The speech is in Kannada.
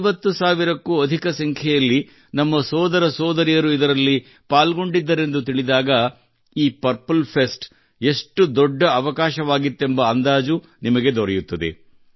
50 ಸಾವಿರಕ್ಕೂ ಅಧಿಕ ಸಂಖ್ಯೆಯಲ್ಲಿ ನಮ್ಮ ಸೋದರ ಸೋದರಿಯರು ಇದರಲ್ಲಿ ಪಾಲ್ಗೊಂಡಿದ್ದರೆಂದು ತಿಳಿದಾಗ ಈ ಪರ್ಪಲ್ ಫೆಸ್ಟ್ ಎಷ್ಟು ದೊಡ್ಡ ಅವಕಾಶವಾಗಿತ್ತೆಂಬ ಅಂದಾಜು ನಿಮಗೆ ದೊರೆಯುತ್ತದೆ